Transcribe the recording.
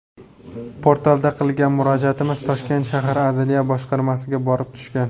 Portalda qilgan murojaatimiz Toshkent shahar Adliya boshqarmasiga borib tushgan.